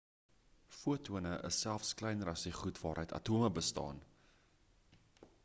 fotone is selfs kleiner as die goed waaruit atome bestaan